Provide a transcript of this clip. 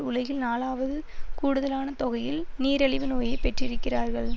உலகில் நாலாவது கூடுதலான தொகையில் நீரழிவு நோயைப் பெற்றிருக்கிறார்கள்